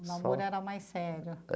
O namoro era mais sério.